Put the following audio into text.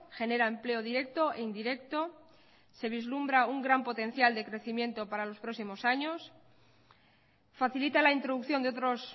genera empleo directo e indirecto se vislumbra un gran potencial de crecimiento para los próximos años facilita la introducción de otros